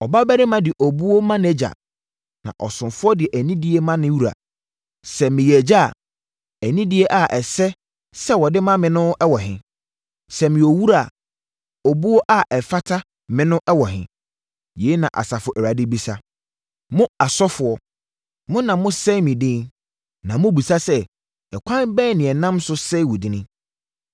“Ɔbabarima de obuo ma nʼagya, na ɔsomfoɔ de anidie ma ne wura. Sɛ meyɛ Agya a, anidie a ɛsɛ sɛ wɔde ma me no wɔ he? Sɛ meyɛ Owura a, obuo a ɛfata me no wɔ he?” Yei na Asafo Awurade bisa. Mo asɔfoɔ, mo na mosɛe me din. “Na mobisa sɛ, ‘Ɛkwan bɛn na yɛ nam so sɛee wo din?’